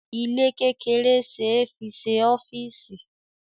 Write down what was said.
Ilé kékeré ṣe é fi ṣe ọ́fíísì.